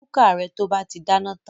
Nu kúkà rẹ to bá ti dáná tan!